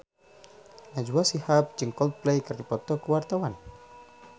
Najwa Shihab jeung Coldplay keur dipoto ku wartawan